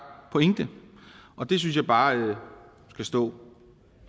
pointe og det synes jeg bare skal stå